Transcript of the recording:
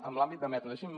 en l’àmbit de metro deixi’m